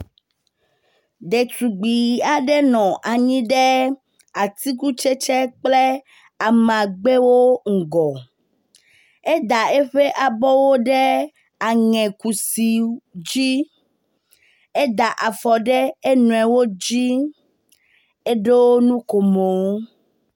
Ɖetugb aɖe nɔ anyi ɖe atikutsetse kple amagbewo ŋgɔ. Eda eƒe abɔwo ɖe aŋekusi dzi. Eda afɔ ɖe enɔewo dzi. Eɖo nukomo.